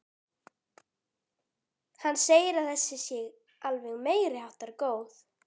Hann segir að þessi sé alveg meiriháttar góð.